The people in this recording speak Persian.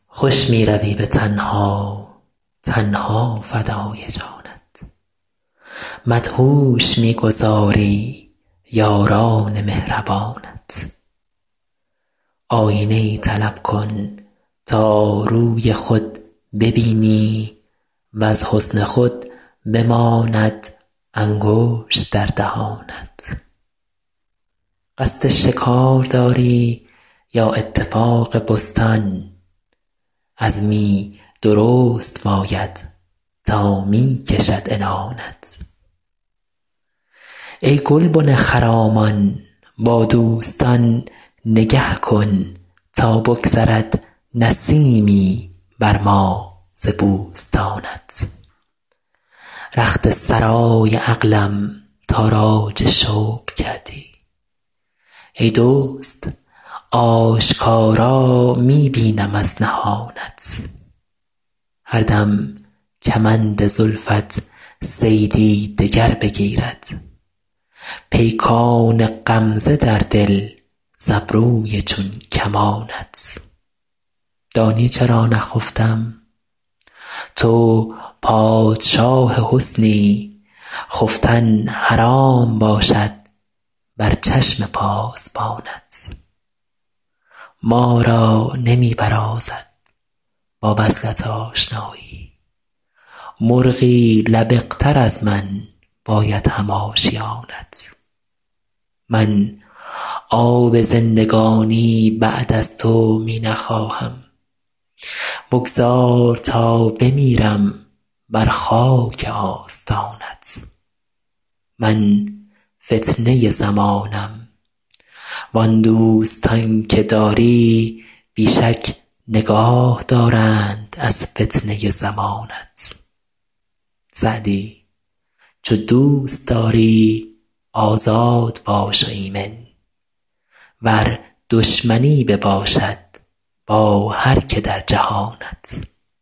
خوش می روی به تنها تن ها فدای جانت مدهوش می گذاری یاران مهربانت آیینه ای طلب کن تا روی خود ببینی وز حسن خود بماند انگشت در دهانت قصد شکار داری یا اتفاق بستان عزمی درست باید تا می کشد عنانت ای گلبن خرامان با دوستان نگه کن تا بگذرد نسیمی بر ما ز بوستانت رخت سرای عقلم تاراج شوق کردی ای دزد آشکارا می بینم از نهانت هر دم کمند زلفت صیدی دگر بگیرد پیکان غمزه در دل ز ابروی چون کمانت دانی چرا نخفتم تو پادشاه حسنی خفتن حرام باشد بر چشم پاسبانت ما را نمی برازد با وصلت آشنایی مرغی لبق تر از من باید هم آشیانت من آب زندگانی بعد از تو می نخواهم بگذار تا بمیرم بر خاک آستانت من فتنه زمانم وان دوستان که داری بی شک نگاه دارند از فتنه زمانت سعدی چو دوست داری آزاد باش و ایمن ور دشمنی بباشد با هر که در جهانت